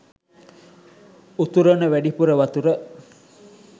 උතුරන වැඩිපුර වතුර